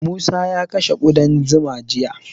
Musa ya kashe ƙudan zuma jiya.